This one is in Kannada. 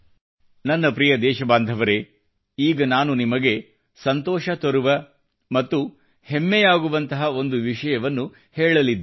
ನನ್ನ ಪ್ರಿಯ ದೇಶ ಬಾಂಧವರೇ ಈಗ ನಾನು ನಿಮಗೆ ಸಂತೋಷ ತರುವ ಮತ್ತು ಹೆಮ್ಮೆಯಾಗುವಂಥ ಒಂದು ವಿಷಯವನ್ನು ಹೇಳಲಿದ್ದೇನೆ